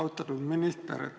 Austatud minister!